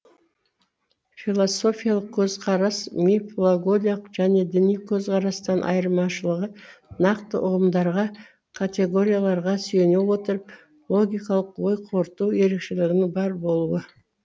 философиялық көзқарас мифологиялық және діни көзқарастан айырмашылығы нақты ұғымдарға категорияларға сүйене отырып логикалық ой қорыту ерекшелігінің бар болуы